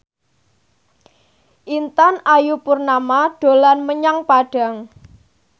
Intan Ayu Purnama dolan menyang Padang